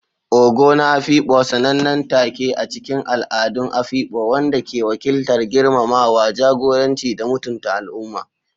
Ogo na Afikpo, sanannen take a cikin al'adun Afikpo wanda ke wakiltar girmamawa, jagoranci, da mutunta al'umma.